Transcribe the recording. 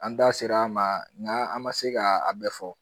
An da sera a ma nga an ma se ka a bɛɛ fɔ